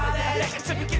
fyrir